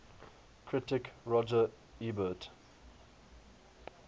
critic roger ebert